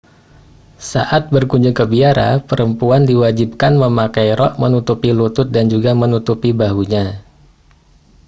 saat berkunjung ke biara perempuan diwajibkan memakai rok menutupi lutut dan juga menutupi bahunya